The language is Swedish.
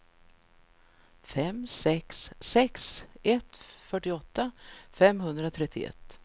fem sex sex ett fyrtioåtta femhundratrettioett